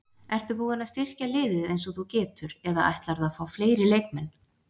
Ertu búinn að styrkja liðið eins og þú getur eða ætlarðu að fá fleiri leikmenn?